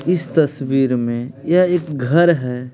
इस तस्वीर में यह एक घर हैं ।